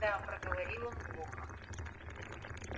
да проговорил он глухо